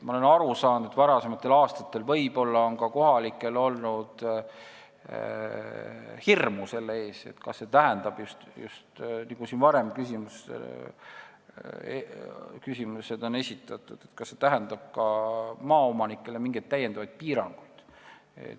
Ma olen aru saanud, et varasematel aastatel on kohalikel olnud hirm ka selle ees – nii nagu siin enne ka küsimus esitati –, kas see tähendab maaomanikele mingeid täiendavaid piiranguid.